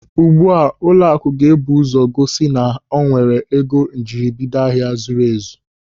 Ugbu a ụlọakụ ga-ebu ụzọ gosi na o nwere ego njiribido ahịa zuru ezu.